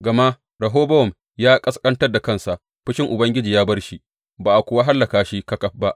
Gama Rehobowam ya ƙasƙantar da kansa, fushin Ubangiji ya bar shi, ba a kuwa hallaka shi ƙaƙaf ba.